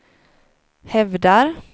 hävdar